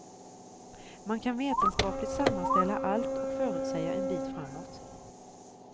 Man kan vetenskapligt sammanställa allt och förutsäga en bit framåt.